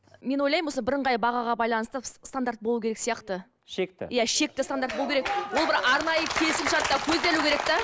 мен ойлаймын осы бірыңғай бағаға байланысты стандарт болу керек сияқты шекті иә шекті стандарт болу керек ол бір арнайы келісімшартта көзделу керек те